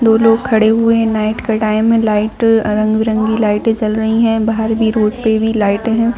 दो लोग खड़े हुए हैं नाइट का टाइम है लाइट रंग-बिरंगी लाइटें जल रही है बाहर भी रोड पे भी लाइटें हैं।